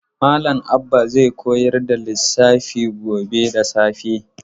Malam Abba zai koyar da lissafi gobe da safe.